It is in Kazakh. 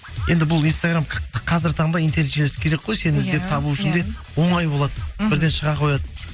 енді бұл инстаграм қазіргі таңда интерес жүйесі керек қой сені іздеп табу үшін де оңай болады мхм бірден шыға қояды